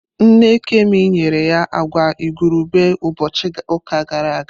Nne Kemi nyere ya agwa igurube ụbọchị ụka gara aga.